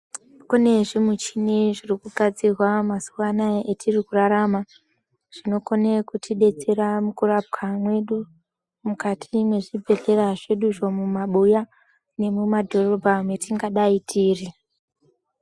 Kune zvimichini zvinogadzirwa mazuva anawa yatiri kurarama zvinokona kutidetsera mukurapwa medu mukati mezvibhedhlera zveduzvo mumabuya nemumadhorobha matingadai tiri.